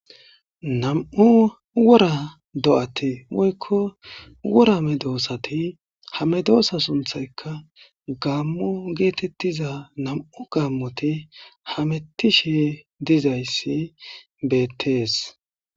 Nam'u wora do'ati moykko worame doosati hame doosa sunthayka gaammo geetettiza nam'u gaammoti hamettishe dizayssi beettees